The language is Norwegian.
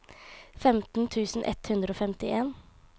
femten tusen ett hundre og femtien